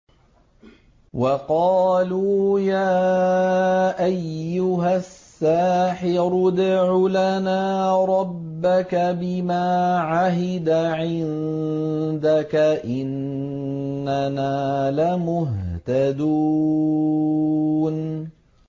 وَقَالُوا يَا أَيُّهَ السَّاحِرُ ادْعُ لَنَا رَبَّكَ بِمَا عَهِدَ عِندَكَ إِنَّنَا لَمُهْتَدُونَ